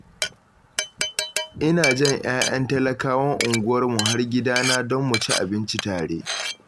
Ina jan 'ya'yan talakawan unguwarmu har gidana don mu ci abinci tare.